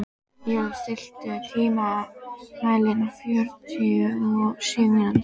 Ylur, stilltu tímamælinn á fjörutíu og sjö mínútur.